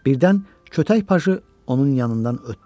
Birdən kötək pajı onun yanından ötdü.